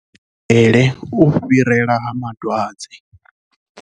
Kha vha thivhele u fhirela ha dwadze.